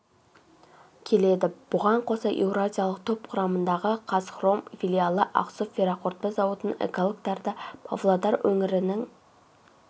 келеді бұған қоса еуразиялық топ құрамындағы қазхром филиалы ақсу ферроқорытпа зауытының экологтары да павлодар өңірінің